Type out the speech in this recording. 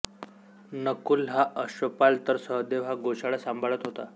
नकुल हा अश्वपाल तर सहदेव हा गोशाळा सांभाळत होता